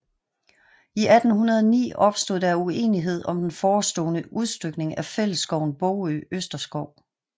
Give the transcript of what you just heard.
I 1809 opstod der uenighed om den forestående udstykning af fællesskoven Bogø Østerskov